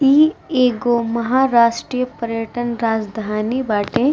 इ एगो महाराष्ट्रीय पर्यटन राजधानी बाटे।